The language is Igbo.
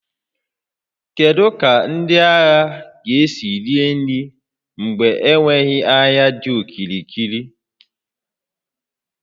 Kedu ka ndị agha ga-esi rie nri mgbe enweghị ahịa dị okirikiri?